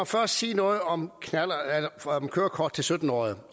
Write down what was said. først sige noget om kørekort til sytten årige